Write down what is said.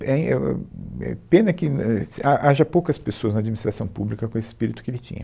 é em, é o, êh, Pena que não éh, ess, há, haja poucas pessoas na administração pública com esse espírito que ele tinha.